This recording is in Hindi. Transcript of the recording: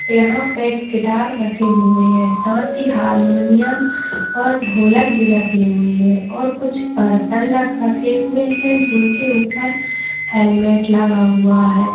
यहां पे एक गिटार रखे हुए है साथ ही हारमोनियम और ढोलक भी रखे हुई हैं और कुछ बर्तन रख रखे हुए है जिनके ऊपर हैलमेट लगा हुआ है।